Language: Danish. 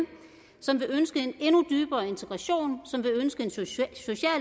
som vil ønske en endnu dybere integration som vil ønske en social